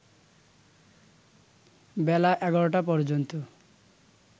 বেলা ১১টা পর্যন্ত